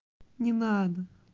не надо